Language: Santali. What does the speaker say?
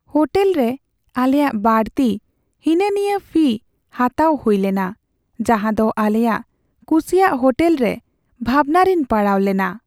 ᱦᱳᱴᱮᱞᱨᱮ ᱟᱞᱮᱭᱟᱜ ᱵᱟᱹᱲᱛᱤ ᱦᱤᱱᱟᱹᱼᱱᱤᱭᱟᱹ ᱯᱷᱤ ᱦᱟᱛᱟᱣ ᱦᱩᱭ ᱞᱮᱱᱟ, ᱡᱟᱦᱟᱸᱫᱚ ᱟᱞᱮᱭᱟᱜ ᱠᱩᱥᱤᱭᱟᱜ ᱦᱳᱴᱮᱞ ᱨᱮ ᱵᱷᱟᱵᱱᱟ ᱨᱮᱧ ᱯᱟᱲᱟᱣ ᱞᱮᱱᱟ ᱾